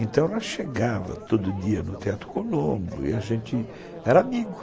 Então, ela chegava todo dia no Teatro Colombo e a gente era amigo.